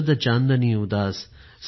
शरद चाँदनी उदास